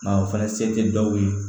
Nka o fana se tɛ dɔw ye